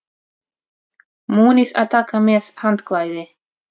Munið að taka með handklæði!